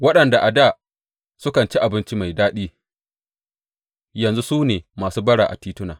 Waɗanda a dā sukan ci abinci mai daɗi yanzu su ne masu bara a tituna.